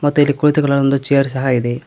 ಇದರಲ್ಲಿ ಕೂಳಿತುಕೊಳ್ಳಲು ಒಂದು ಚೇರ್ ಸಹ ಇದೆ.